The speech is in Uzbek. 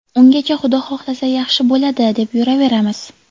Ungacha Xudo xohlasa, yaxshi bo‘ladi, deb yuraveramiz.